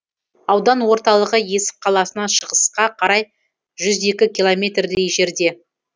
аудан орталығы есік қаласынан шығысқа қарай жүз екі километрдей жерде